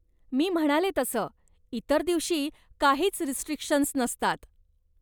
मी म्हणाले तसं, इतर दिवशी काहीच रिस्ट्रिक्शन्स नसतात.